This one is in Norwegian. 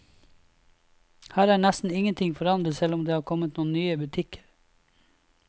Her er nesten ingenting forandret selv om det har kommet noen nye butikker.